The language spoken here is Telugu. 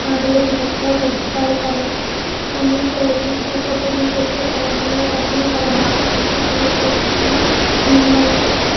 ఆడుగురు గురించి ఎక్కువ తెలుస్కోవాలి కాబట్టి ఫామిలీస్ తో వెళ్లి ఇక్కడ ఫోటోస్ దిగితే చాలా అందంగా పడుతుంది చాలా బాగా కనిపిస్తుంది ఫోటోస్ కూడా అందంగా ఉంటుంది --